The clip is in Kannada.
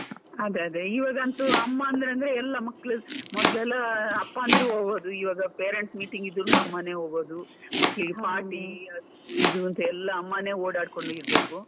ಅದೇ ಅದೇ, ಇವಾಗಂತೂ ಅಮ್ಮ ಅಂದ್ರೆ ಅಂದ್ರೆ ಎಲ್ಲ ಮಕ್ಕಳು ಮೊದ್ಲೆಲ್ಲಾ ಅಪ್ಪ ಅಂದ್ರೆ ಹೋಗೋದು ಇವಾಗ parents meeting ಇದ್ರುನು ಅಮ್ಮನೇ ಹೋಗೋದು, ಮಕ್ಕಳಿಗೆ party ಅದು ಇದು ಅಂತ ಎಲ್ಲ ಅಮ್ಮನೇ ಓಡಾಡ್ಕೊಂಡು ಇರ್ಬೇಕು.